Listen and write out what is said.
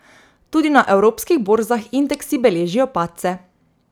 Tudi na evropskih borzah indeksi beležijo padce.